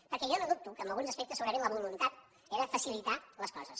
perquè jo no dubto que en alguns aspectes segurament la voluntat era facilitar les coses